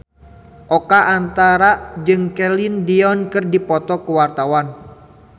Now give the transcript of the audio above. Oka Antara jeung Celine Dion keur dipoto ku wartawan